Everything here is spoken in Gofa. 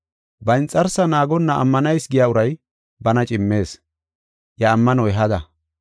Ba inxarsaa naagonna ammanayis giya uray bana cimees; iya ammanoy hada.